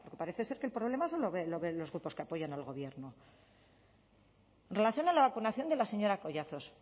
porque parece ser que el problema solo lo ven los grupos que apoyan al gobierno en relación a la vacunación de la señora collazos